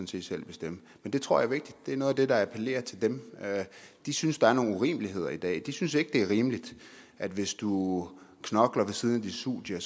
set selv bestemme men det tror jeg er vigtigt det er noget af det der appellerer til dem de synes der er nogle urimeligheder i dag de synes ikke det er rimeligt at hvis du knokler ved siden af dit studie